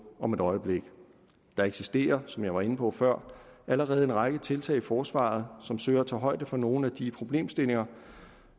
om et øjeblik der eksisterer som jeg var inde på før allerede en række tiltag i forsvaret som søger at tage højde for nogle af de problemstillinger